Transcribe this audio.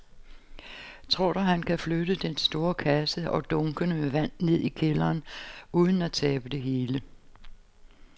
Tror du, at han kan flytte den store kasse og dunkene med vand ned i kælderen uden at tabe det hele?